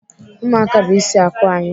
Ụmụaka bụ ịsị akụ anyị.